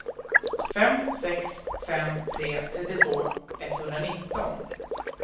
fem sex fem tre trettiotvå etthundranitton